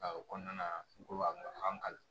A o kɔnɔna na n ko a ma n kali